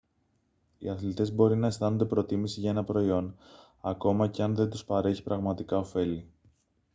οι αθλητές μπορεί να αισθάνονται προτίμηση για ένα προϊόν ακόμα και αν δεν τους παρέχει πραγματικά οφέλη